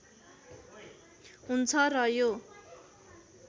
हुन्छ र यो